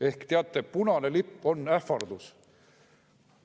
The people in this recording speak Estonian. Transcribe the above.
Ehk teate, punane lipp on ähvardus.